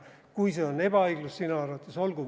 Kui see on sinu arvates ebaõiglus – olgu.